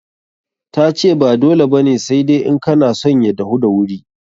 Ta ce ba dole ba ne, sai dai in kana son ya dahu da wuri.